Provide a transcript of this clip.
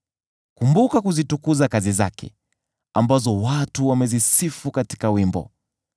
Kumbuka kuzitukuza kazi zake, ambazo watu wamezisifu katika wimbo.